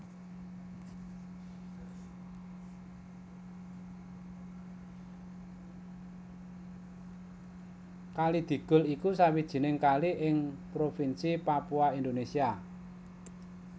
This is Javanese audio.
Kali Digul iku sawijining kali ing Provinsi Papua Indonesia